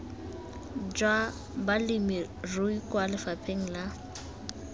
jwa balemirui kwa lefapheng la